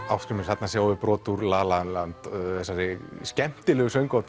Ásgrímur þarna sjáum við brot úr la la land þessari skemmtilegu söng og